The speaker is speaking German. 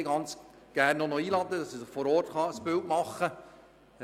möchte ich ganz gerne einmal einladen, damit er sich vor Ort ein Bild machen kann.